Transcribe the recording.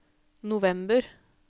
november